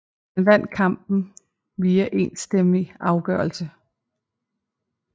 Han vandt kampen via enstemmig afgørelse